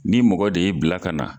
N'i mɔgɔ de y'i bila ka na.